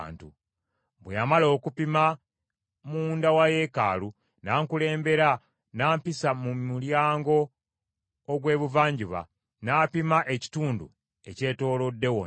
Bwe yamala okupima munda wa yeekaalu, n’ankulembera n’ampisa mu mulyango ogw’Ebuvanjuba, n’apima ekitundu ekyetoolodde wonna.